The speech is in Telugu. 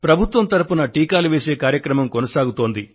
ప్రభుత్వం తరపున టీకాలు వేసే కార్యక్రమం సాగుతోంది